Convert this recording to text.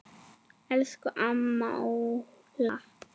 Elsku amma Óla.